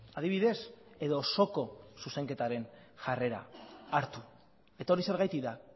adibidez edo osoko zuzenketaren jarrera hartu eta hori zergatik da